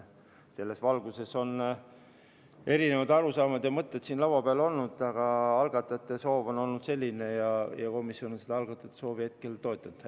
Selles valguses on eri arusaamad ja mõtted siin laua peal olnud, aga algatajate soov on olnud selline ja komisjon on seda algatajate soovi toetanud.